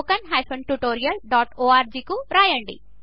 org కు వ్రాసి సంప్రదించండి